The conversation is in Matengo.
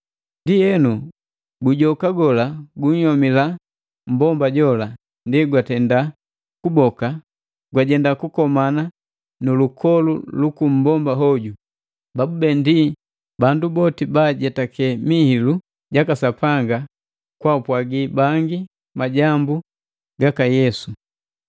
Ndienu, gujoka gola gunhyomila mmbomba jola, ndi gwatenda kuboka lajenda kukomana na lukolu luku mmbomba hoju, babube ndi bandu boti baajetake mihilu jaka Sapanga kwapwagi bangi majambu gaka Yesu.